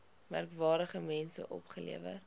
merkwaardige mense opgelewer